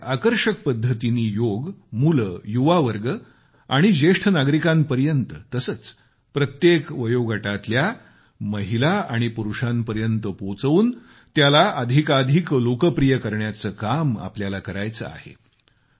नव्या आकर्षक पद्धतीनी योग मुले युवावर्ग आणि ज्येष्ठ नागरीकांपर्यत तसेच प्रत्येक वयोगटातल्या महिला आणि पुरुषांपर्यंत पोचवून त्याला अधिकाधिक लोकप्रिय करण्याचे काम आपल्याला करायचे आहे